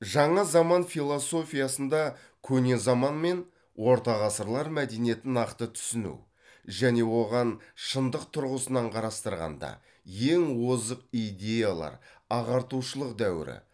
жаңа заман философиясында көне заман мен ортағасырлар мәдениетін нақты түсіну және оған шындық тұрғысынан қарастырғанда ең озық идеялар ағартушылық дәуірі